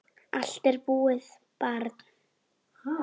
Allt er búið, barn.